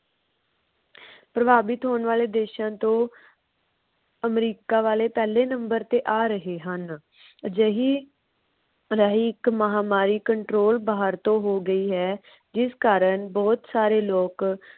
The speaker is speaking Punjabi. ਪਰਬਾਵਿਤ ਹੋਣ ਵਾਲੇ ਦੇਸ਼ਾਂ ਤੋਂ ਅਮਰੀਕਾ ਵਾਲੇ ਪਹਿਲੇ number ਤੇ ਆ ਰਹੇ ਹਨ। ਅਜਿਹੀ ਇਕ ਮਹਾਮਾਰੀ control ਬਾਹਰ ਤੋਂ ਹੋ ਗਈ ਹੈ ਜਿਸ਼ ਕਾਰਨ ਬਹੁਤ ਸਾਰੇ ਲੋਕ।